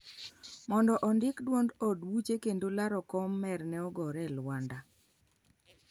mondo ondik duond od buche kendo laro kom mer ne ogore elwanda